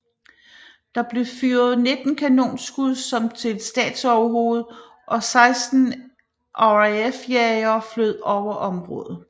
Der blev affyret 19 kanonskud som til et statsoverhoved og 16 RAF jagere fløj over området